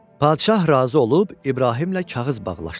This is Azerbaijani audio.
Padşah razı olub İbrahimlə kağız bağlaşdılar.